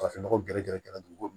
Farafin nɔgɔ gɛrɛ gɛrɛ gɛrɛ dugukolo